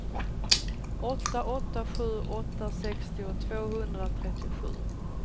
åtta åtta sju åtta sextio tvåhundratrettiosju